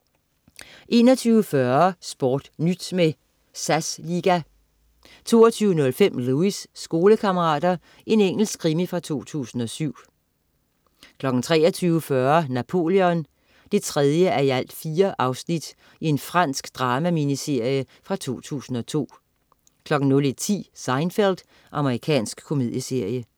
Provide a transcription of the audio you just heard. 21.40 SportNyt med SAS Liga 22.05 Lewis: Skolekammerater. Engelsk krimi fra 2007 23.40 Napoleon 3:4. Fransk drama-miniserie fra 2002 01.10 Seinfeld. Amerikansk komedieserie